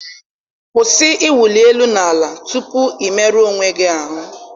Kwụsị ịwụli elu na ala tupu ị onwe gị ahụ.